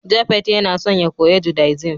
Japhet Yana son ya koya Judaism